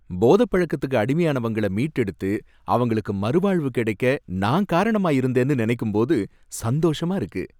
போதை பழக்கத்துக்கு அடிமையானவங்கள மீட்டெடுத்து அவங்களுக்கு மறுவாழ்வு கிடைக்க நான் காரணமா இருந்தேன்னு நினைக்கும் போது சந்தோஷமா இருக்கு.